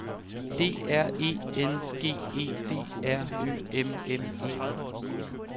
D R E N G E D R Ø M M E